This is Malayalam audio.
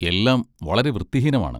എല്ലാം വളരെ വൃത്തിഹീനമാണ്.